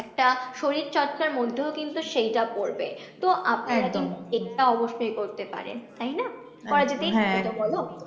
একটা শরীর চর্চার মধ্যেও কিন্তু সেইটা পরবে, তো আপনারা কিন্তু এটা অবশ্যই করতে পারেন, তাই না? করা যেতেই তো পারে বলো?